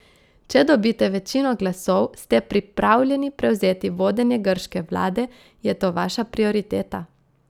Če dobite večino glasov, ste pripravljeni prevzeti vodenje grške vlade, je to vaša prioriteta?